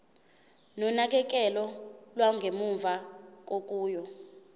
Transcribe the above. nonakekelo lwangemuva kokuya